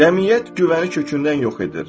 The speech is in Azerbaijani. Cəmiyyət güvəni kökündən yox edir.